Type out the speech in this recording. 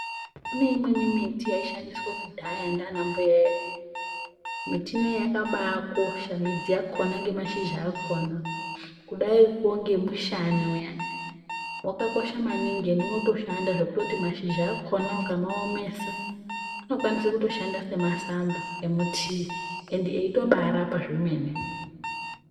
Kune imweni miti yaishandiswa kudhara ndiana mbuya edu ,miti iyona yakabaakosha midzi yakona nemashizha akona kudaiko ngekumwa mushani uyane wakakosha maningi ende unotoshanda ngekuti mashizha akona ukamaomesa unosisa mutiii ukamwa ukapora ende anoshanda kwemene